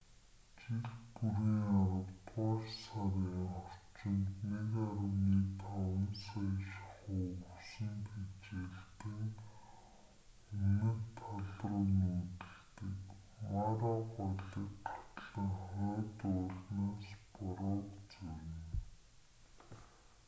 жил бүрийн аравдугаар сарын орчимд 1,5 сая шахуу өвсөн тэжээлтэн өмнөд талруу нүүдэлдэг мара голыг гатлан хойд уулнаас бороог зорино